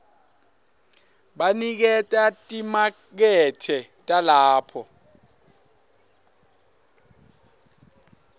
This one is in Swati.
baniketa timakethe talapho